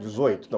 dezoito, então